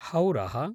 हौरः